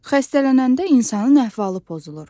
Xəstələnəndə insanın əhvalı pozulur.